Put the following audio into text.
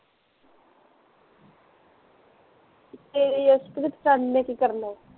ਤੇਰੀ ਜਸਪ੍ਰੀਤ ਫਰੈਂਡ ਨੇ ਕੀ ਕਰਨਾ ਐ